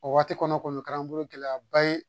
O waati kɔnɔ kɔni o kɛra an bolo gɛlɛyaba ye